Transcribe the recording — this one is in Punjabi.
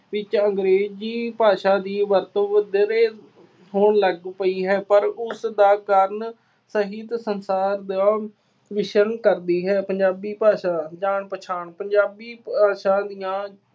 ਵਿੱਚ ਅੰਗਰੇਜ਼ੀ ਭਾਸ਼ਾ ਦੀ ਵਰਤੋਂ ਵਧੇਰੇ ਹੋਣ ਲੱਗ ਪਈ ਹੈ। ਪਰ ਉਸਦਾ ਕਾਰਨ ਸਾਹਿਤ ਸੰਸਾਰ ਦਾ ਮਿਸ਼ਨ ਕਰਦੀ ਹੈ। ਪੰਜਾਬੀ ਭਾਸ਼ਾ - ਜਾਣ ਪਛਾਣ- ਪੰਜਾਬੀ ਭਾਸ਼ਾ ਦੀਆਂ